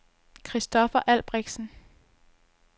Kristoffer Albrechtsen